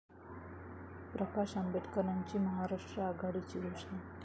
प्रकाश आंबेडकरांची महाराष्ट्र आघाडीची घोषणा